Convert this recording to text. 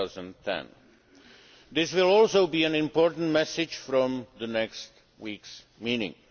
2010. This will also be an important message from next week's meeting.